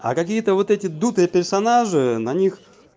а какие-то вот эти дутые персонажи на них